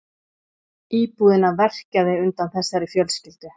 Íbúðina verkjaði undan þessari fjölskyldu.